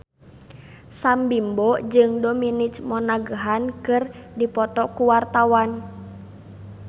Sam Bimbo jeung Dominic Monaghan keur dipoto ku wartawan